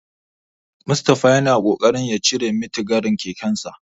Mustapha yana kokarin ya cire mitigarin kekensa.